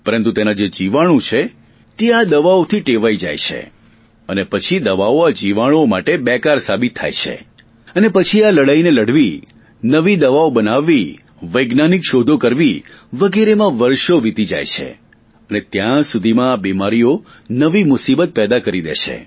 પરંતુ તેના જે જીવાણુ છે તે આ દવાઓથી ટેવાઈ જાય છે અને પછી દવાઓ આ જીવાણુઓ માટે બેકાર સાબિત થાય છે અને પછી આ લડાઈને લડવી નવી દવાઓ બનાવવી વૈજ્ઞાનિક શોધો કરવી વગેરેમાં વર્ષો વિતી જાય છે અને ત્યાં સુધીમાં આ બીમારીઓ નવી મુસીબત પેદા કરી દે છે